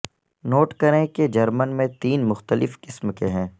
note کریں کہ German میں تین مختلف قسم کے ہیں